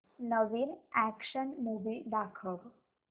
नवीन action movie दाखव